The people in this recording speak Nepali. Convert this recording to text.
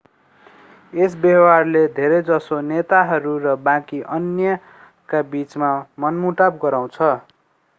यस व्यवहारले धेरैजसो नेताहरू र बाँकी अन्यका बिचमा मनमुटाव गराउँछ